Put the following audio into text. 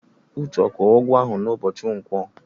Uche kwụrụ ụgwọ ahụ n'ụbọchị Nkwọ?